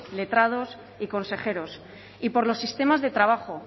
letrados y consejeros y por los sistemas de trabajo